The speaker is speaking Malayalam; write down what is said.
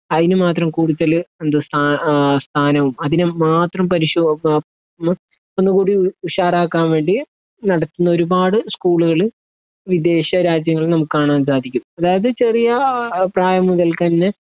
അയിന് മാത്രം കൂടുതൽ എന്താ സ്ഥാ ഏഹ് സ്ഥാനോം അതിന് മാത്രം പരിശോ ആ മ് ഒന്നുകൂടി ഉഷാറാക്കാൻ വേണ്ടി നടത്ത്ന്ന ഒരുപാട് സ്കൂളുകൾ വിദേശ രാജ്യങ്ങളിൽ നമ്മക്ക് കാണാൻ സാധിക്കും അതായത് ചെറിയ പ്രായം മുതല്ക്കന്നെ